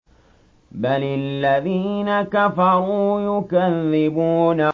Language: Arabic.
بَلِ الَّذِينَ كَفَرُوا يُكَذِّبُونَ